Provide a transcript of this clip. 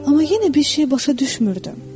Amma yenə bir şey başa düşmürdüm.